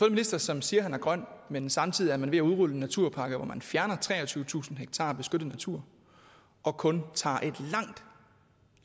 en minister som siger at han er grøn men samtidig er man ved at udrulle en naturpakke hvor man fjerner treogtyvetusind ha beskyttet natur og kun tager